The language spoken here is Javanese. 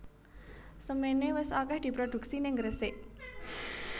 Semene wis akeh diproduksi ning Gresik